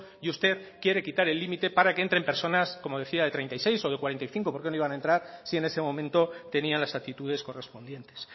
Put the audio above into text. y usted quiere quitar el límite para que entren personas como decía de treinta y seis o de cuarenta y cinco por qué no iban a entrar si en ese momento tenían las actitudes correspondientes